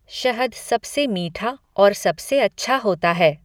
शहद सबसे मीठा और सबसे अच्छा होता है।